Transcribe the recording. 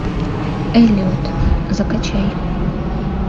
эллиот закачай